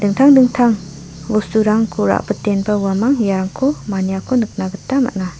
dingtang dingtang bosturangko rabitenba uamang iarangko maniako nikna gita man·a.